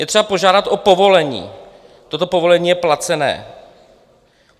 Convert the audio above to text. Je třeba požádat o povolení, toto povolení je placené.